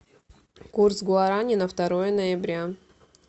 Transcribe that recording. курс гуарани на второе ноября